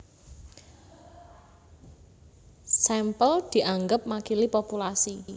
Sampel dianggep makili populasi